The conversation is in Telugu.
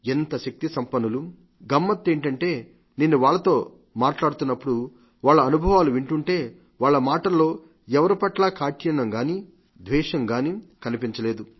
ఎంత శక్తిసంపన్నులు గమ్మత్తేమిటంటే నేను వాళ్లతో మాట్లాడుతున్నప్పుడు వాళ్ల అనుభవాలు వింటుంటే వాళ్ల మాటల్లో ఎవరిపట్లా కాఠిన్యం గానీ ద్వేషం గానీ కనిపించలేదు